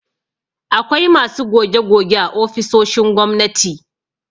Akwai masu goge-goge a ofisoshin gwamnati